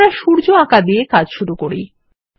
আমরা সূর্য আঁকা দিয়ে কাজ শুরু করি